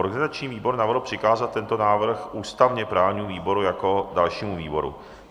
Organizační výbor navrhl přikázat tento návrh ústavně-právnímu výboru jako dalšímu výboru.